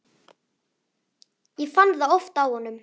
Ég fann það oft á honum.